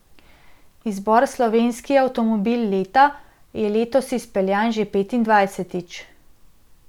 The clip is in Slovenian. Izbor Slovenski avtomobil leta je letos izpeljan že petindvajsetič.